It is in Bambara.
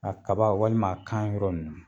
A kaba walima a kan yɔrɔ ninnu.